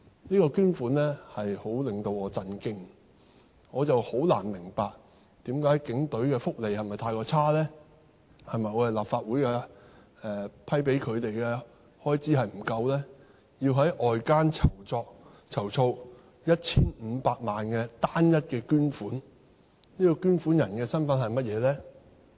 這捐款數字令我十分震驚，我很難明白，是否警隊的福利太差，是否立法會批准給他們的開支不足夠，令他們要在外間籌措 1,500 萬元的單一捐款，而該捐款人的身份是甚麼呢？